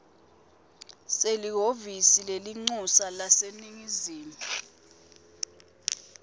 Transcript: selihhovisi lelincusa laseningizimu